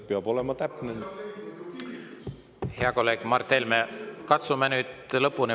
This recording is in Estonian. Hea kolleeg Mart Helme, katsume nüüd lõpuni.